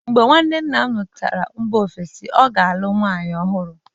mgbe nwanne nna m si mba ofesi lọta, ọ ga-alụ nwunye ọhụrụ